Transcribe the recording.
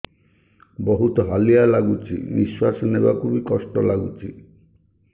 ବହୁତ୍ ହାଲିଆ ଲାଗୁଚି ନିଃଶ୍ବାସ ନେବାକୁ ଵି କଷ୍ଟ ଲାଗୁଚି